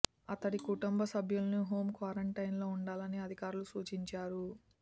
అతడి కుటుంబ సభ్యులను హోం క్వారంటైన్ లో ఉండాలని అధికారులు సూచించారు